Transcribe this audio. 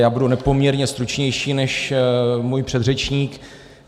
Já budu nepoměrně stručnější než můj předřečník.